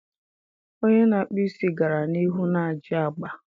Onye na-akpụ isi gara n'ihu n'ajị agba.